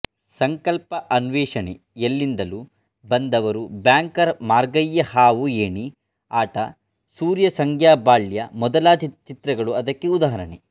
ಸಂಕಲ್ಪಅನ್ವೇಷಣೆಎಲ್ಲಿಂದಲೂ ಬಂದವರುಬ್ಯಾಂಕರ್ ಮಾರ್ಗಯ್ಯಹಾವು ಏಣಿ ಆಟಸೂರ್ಯಸಂಗ್ಯಾ ಬಾಳ್ಯ ಮೊದಲಾದ ಚಿತ್ರಗಳು ಅದಕ್ಕೆ ಉದಾಹರಣೆ